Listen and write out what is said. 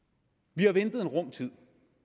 vi har ventet en rum tid